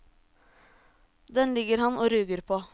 Den ligger han og ruger på.